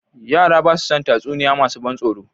Yara ba su son tatsuniya masu ban tsoro